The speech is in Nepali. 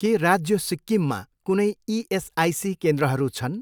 के राज्य सिक्किममा कुनै इएसआइसी केन्द्रहरू छन्?